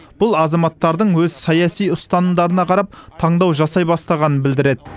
бұл азаматтардың өз саяси ұстанымдарына қарап таңдау жасай бастағанын білдіреді